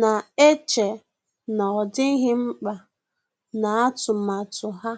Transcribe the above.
na-eche na ọ dịghị mkpa na atụmatụ ha